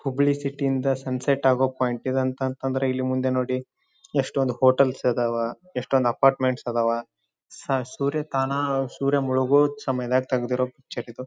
ಹುಬ್ಬಳ್ಳಿ ಸಿಟಿಯಿಂದ ಸನ್ಸೆಟ್ ಆಗುವ ಪಾಯಿಂಟ್ ಇದು ಅಂತ ಅಂದರೆ ಇಲ್ಲಿ ಮುಂದೆ ನೋಡಿ ಎಷ್ಟೊಂದು ಹೋಟೆಲ್ ಇದ್ದಾವಾ ಎಷ್ಟೊಂದು ಅಪಾರ್ಟ್ಮೆಂಟ್ಸ್ ಇದ್ದಾವಾ ಸೂರ್ಯ ತಾನಾಗ ಸೂರ್ಯ ಮುಳುಗುವುದು ಸಮಯದಲ್ಲಿ ತೆಗೆದಿರುವ ಪಿಕ್ಚರ್ ಇದು.